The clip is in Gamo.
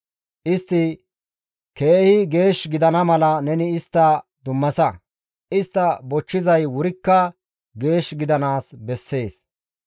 Istti keehi geesh gidana mala neni istta dummasa; istta bochchizay wurikka geesh gidanaas bessees.